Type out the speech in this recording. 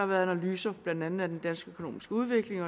været analyser blandt andet af den økonomiske udvikling